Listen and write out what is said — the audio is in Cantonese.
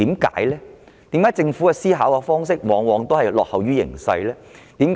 為何政府的思考方式往往落後於形勢呢？